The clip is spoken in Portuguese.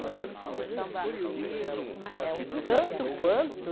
Mas é um tanto quanto...